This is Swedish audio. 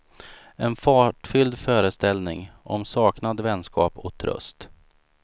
En fartfylld föreställning om saknad, vänskap och tröst.